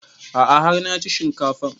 A'a har na ci shinkafan